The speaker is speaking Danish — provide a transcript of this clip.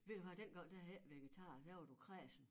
Ved du hvad dengang der hed det ikke vegetar der var du kræsen